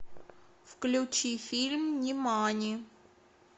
включи фильм нимани